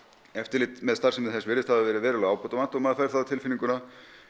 eftirlit með starfsemi þess virðist hafa verið verulega ábótavant og maður fær það á tilfinninguna